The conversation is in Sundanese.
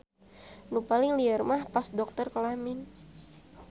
Nu paling lieur mah pas dokter kelamin.